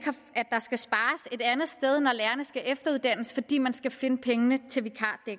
andet sted når lærerne skal efteruddannes fordi man skal finde pengene til